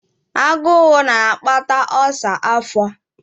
Agụụ na-akpata ulcer afọ.